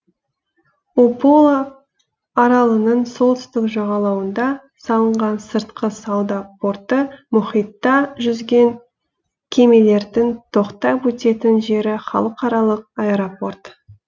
упола аралының солтүстік жағалауында салынған сыртқы сауда порты мұхитта жүзген кемелердің тоқтап өтетін жері халықаралық аэропорт